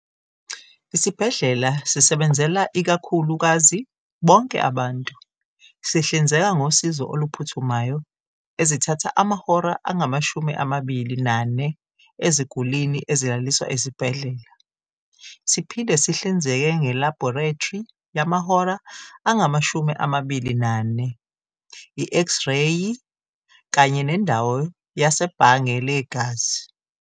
Isibhedlela sisebenzela ikakhulu kazi bonke abantu. Sihlinzeka ngosizo oluphuthumayo ezithatha amahora angamashumi amabili nane ezigulini ezilaliswa esibhedlela. Siphinde sihlinzeke nge laborethri yamahora angamashumi amabili nane, I X-reyi kanye nendawo yasebhange legazi.